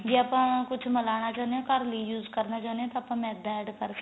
ਜੇ ਆਪਾਂ ਕੁੱਝ ਮਿਲਣਾ ਚਾਹਨੇ ਆ ਤਾਂ ਘਰ ਲਈ use ਕਰਨਾ ਚਾਹੰਦੇ ਆ ਤਾਂ ਆਪਾਂ ਮੈਦਾ add ਕਰ ਸਕਦੇ ਆ